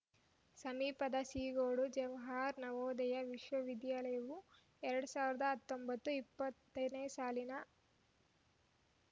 ಸಮೀಪದ ಸೀಗೋಡು ಜವಾಹರ್‌ ನವೋದಯ ವಿದ್ಯಾಲಯವು ಎರಡ್ ಸಾವಿರದ ಹತ್ತೊಂಬತ್ತು ಇಪ್ಪತ್ತನೇ ಸಾಲಿನ